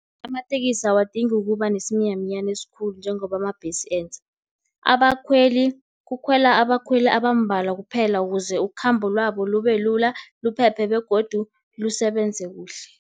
Amatekisi awadingi ukuba nesiminyaminyani esikhulu, njengoba amabhesi enza. Abakhweli kukhwelwa abakhweli abambalwa kwaphela, ukuze ikhamba labo libe lula, liphephe begodu lisebenze kuhle.